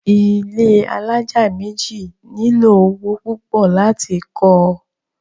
ilé alájà méjì nílò owó púpọ̀ láti kọ́ ọ.